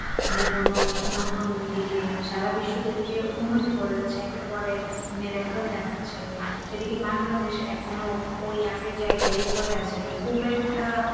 যেকোনো নতুন দিকে সারা বিশ্ব যেদিকে উন্নতি করে যাচ্ছে একের পর এক miracle দেখাচ্ছে, সেদিকে বাংলাদেশ এখনো ওই আগের জায়গায় পড়ে আছে খুব একটা!